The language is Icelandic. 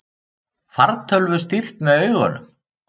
Fartölvu stýrt með augunum